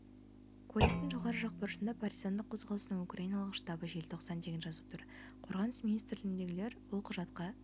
куәліктің жоғарғы жақ бұрышында партизандық қозғалыстың украниналық штабы желтоқсан деген жазу тұр қорғаныс министрлігіндегілер бұл құжатқа